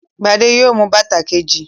Gbadé yóò mú bàtà kejì.